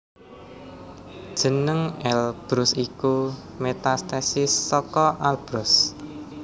Jeneng Elbrus iku metathesis saka Alborz